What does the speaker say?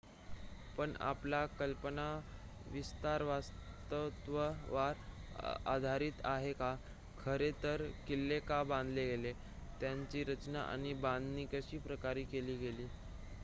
पण आपला कल्पनाविस्तार वास्तवावर आधारित आहे का खरे तर किल्ले का बांधले गेले त्यांची रचना आणि बांधणी कशा प्रकारे केली गेली